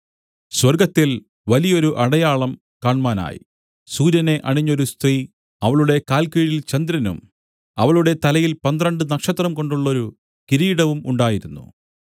സ്വർഗ്ഗത്തിൽ വലിയൊരു അടയാളം കാണ്മാനായി സൂര്യനെ അണിഞ്ഞൊരു സ്ത്രീ അവളുടെ കാൽക്കീഴിൽ ചന്ദ്രനും അവളുടെ തലയിൽ പന്ത്രണ്ട് നക്ഷത്രംകൊണ്ടുള്ളൊരു കിരീടവും ഉണ്ടായിരുന്നു